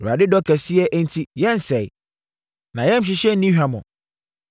Awurade dɔ kɛseɛ enti yɛnnsɛeɛ. Nʼayamhyehyeɛ nni hwammɔ.